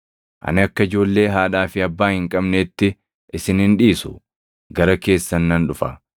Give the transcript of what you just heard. Ani akka ijoollee haadhaa fi abbaa hin qabneetti isin hin dhiisu; gara keessan nan dhufa.